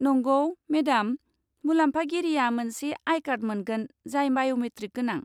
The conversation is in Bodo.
नंगौ, मेडाम! मुलामफागिरिया मोनसे आइ कार्ड मोनगोन जाय बाय'मेट्रिक गोनां।